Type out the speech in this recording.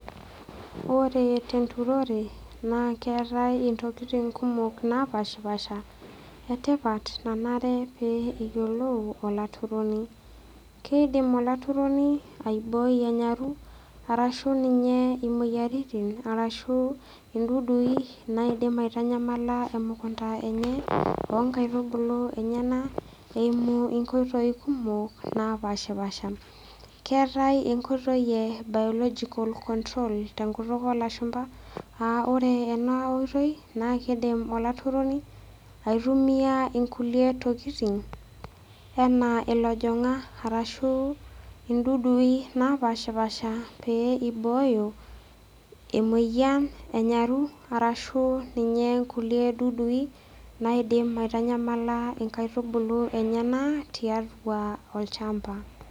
Ore tenturore naake eetai intokitin kumok naapaashipaasha e tipat nanare pee eyiolou olaturoni. Keidim olaturoni aiboi enyaru arashu ninye imoyiaritin arashu intudui naidim aitanyamala emukunda enye oo nkaitubulu enyenak eimu inkoitoi kumok naapashipaasha. Keetai enkoitoi e biological control te nkutuk oo lashumba, aa ore ena oitoi naa kiidim olaturoni aitumia inkukie tokitin enaa ilojong'ak arashu intudui naapaashipaasha pee ibooyo emoyian enyaru arashu ninye kulie dudui naidim aitanyamala inkaitubulu enyenak tiatua olchamba.